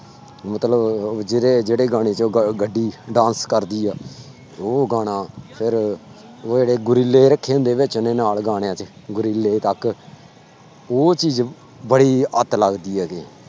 ਮਤਲਬ ਉਹ ਜਿਹੜੇ ਜਿਹੜੇ ਗਾਣੇ ਚ ਉਹ ਗ ਗੱਡੀ dance ਕਰਦੀ ਆ, ਉਹ ਗਾਣਾ ਫਿਰ ਉਹ ਜਿਹੜੇ ਗੋਰੀਲੇ ਰੱਖੇ ਹੁੰਦੇ ਵਿੱਚ ਉਹਨੇ ਨਾਲ ਗਾਣਿਆਂ ਦੇ ਗੋਰੀਲੇ ਤੱਕ ਉਹ ਚੀਜ਼ ਬੜੀ ਅੱਤ ਲੱਗਦੀ ਹੈਗੀ।